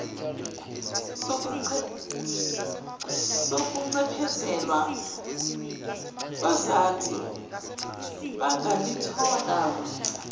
sokuncephezelwa bazathi bangalithola